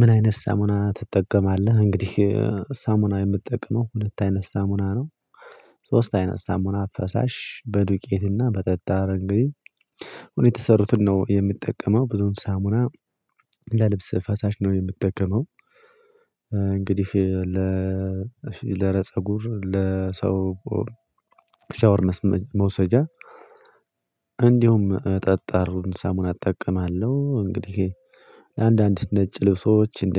ምን አይነት ሳሙና ትጠቀማለህ? እንግዲህ ሳሙና የምትጠቅመው ሁለት አይነት ሳሙና ነው፤ ሶስት አይነት ሳሙና ፈሳሽ በዱቄትና በጠጣር እንግዲህ ሆነው የተሰሩትን ነው የምትጠቀመው ብዙም ሳሙና ለልብስ ፈሳሽ ነው የምትጠቀመው እንግዲህ ለረጸጉ ለፀጉር ለሰው ሻወርነስ መውሰጃ እንዲሁም ጠጣሩን ሳሙና እጠቀማለሁ እንግዲህ ለአንዳንድ ነጭ ልብሶች እንደ